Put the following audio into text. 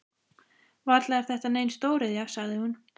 Varla er þetta nein stóriðja? sagði hún.